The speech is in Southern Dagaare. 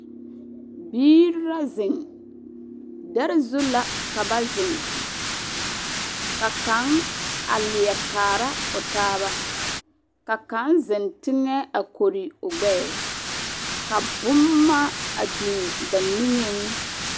Biiri la zeŋ. Dԑre zu la ka ba zeŋ. Ka kaŋ a leԑ kaara o taaba, ka kaŋ zeŋ teŋԑ a kͻre o gbԑԑ ka bomma a biŋi ba niŋeŋ.